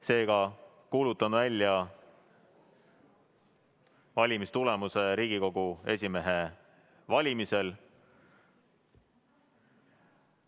Seega kuulutan välja valimistulemuse Riigikogu esimehe valimisel.